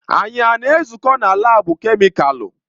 Anyị a na-ezukọ na laabu kemịkalụ?